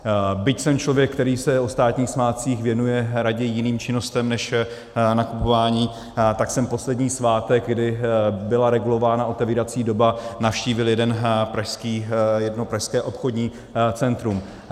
Byť jsem člověk, který se o státních svátcích věnuje raději jiným činnostem než nakupování, tak jsem poslední svátek, kdy byla regulována otevírací doba, navštívil jedno pražské obchodní centrum.